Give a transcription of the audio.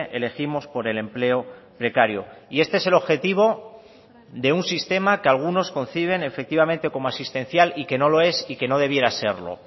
elegimos por el empleo precario y este es el objetivo de un sistema que algunos conciben efectivamente como asistencial y que no lo es y que no debiera serlo